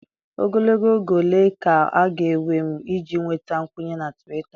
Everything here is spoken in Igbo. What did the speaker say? Ogologo oge ole ka ọ ga-ewe m iji nweta nkwenye na Twita?